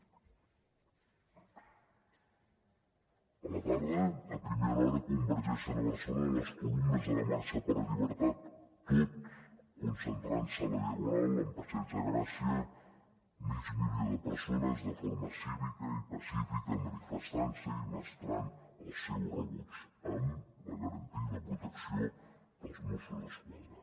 a la tarda a primera hora convergeixen a barcelona les columnes de la marxa per la llibertat tot concentrant se a la diagonal amb passeig de gràcia mig milió de persones de forma cívica i pacífica manifestant se i mostrant el seu rebuig amb la garantia i la protecció dels mossos d’esquadra